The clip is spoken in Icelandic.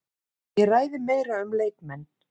Ég ræði meira um leikmenn.